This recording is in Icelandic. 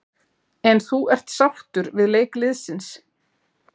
En þú ert sáttur við leik liðsins?